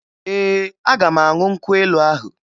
Ee, aga m aṅụ nkwụ elu ahụ